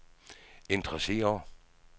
interesser